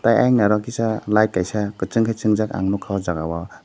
eiang ni oro kisa light kaisa kuchung ke chunjak ang nugka ow jaaga o.